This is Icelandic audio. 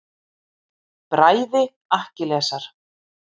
Bræði Akkilesar.